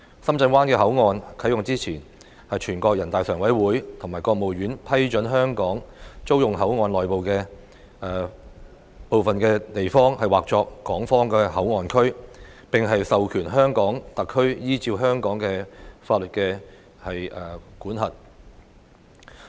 深圳灣口岸啟用前，全國人大常委會和國務院批准香港租用口岸內的部分地方以劃作港方口岸區，並授權香港特區依照香港法律管轄。